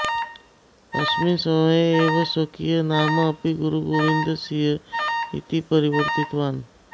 अस्मिन् समये एव स्वकीयं नाम अपि गुरुगोविन्दसिंह इति परिवर्तितवान्